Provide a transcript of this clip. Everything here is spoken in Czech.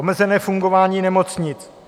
Omezené fungování nemocnic.